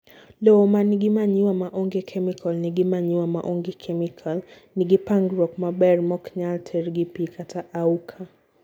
Lowo manigi manure ma onge chemical nigi manure maonge kemikal, nigi pangruok maber moknyal terr gi pii kata auka